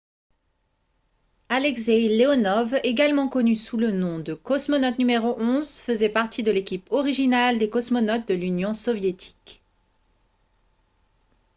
alexeï leonov également connu sous le nom de « cosmonaute n° 11 » faisait partie de l'équipe originale des cosmonautes de l'union soviétique